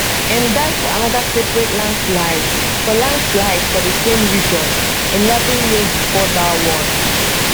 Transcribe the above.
im die fo anoda separate landslide for landslide for di same region eleven years before dat one